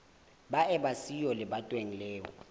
ba eba siyo lebatoweng leo